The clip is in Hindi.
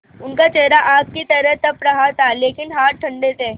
उनका चेहरा आग की तरह तप रहा था लेकिन हाथ ठंडे थे